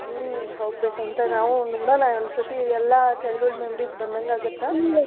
ಹ್ಮ್‌ ಹೋಗ್ಬೇಕ್ ಅಂತ ನಾವು ಒಂದ್ ಸತಿ ಎಲ್ಲಾ childhood memories ಬಂದಂಗ ಆಗತ್ತ.